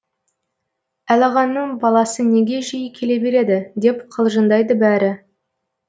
әлағаның баласы неге жиі келе береді деп қалжыңдайды бәрі